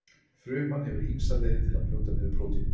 Fruman hefur ýmsar leiðir til þess að brjóta niður prótín.